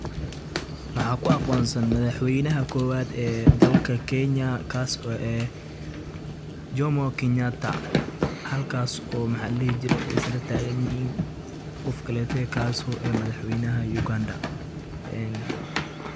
Maxa ku aqoonsan madaxweeynaha kuwaat , ee dalka keenya ee kasoo oo eeh jomoo kenyataa halkaso maxaladhe jiray Isla taganyahin qoofkaleeto kaso. Oo madaxweynaha yuganda een.